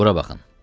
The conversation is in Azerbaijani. Bura baxın.